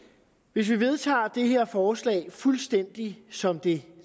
hvis vi vedtager det her forslag fuldstændig som det